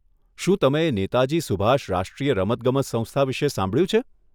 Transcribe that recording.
શું તમે નેતાજી સુભાષ રાષ્ટ્રીય રમતગમત સંસ્થા વિશે સાંભળ્યું છે?